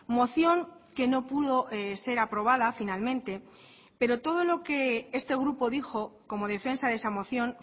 moción que no pudo ser aprobada finalmente pero todo lo que este grupo dijo como defensa de esa moción